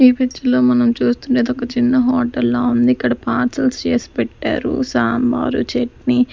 ఈ పిచ్చు లో మనం చూస్తున్నది ఒక చిన్న హోటల్లా ఉంది ఇక్కడ పార్సెల్స్ చేసి పెట్టారు సాంబారు చట్నీ .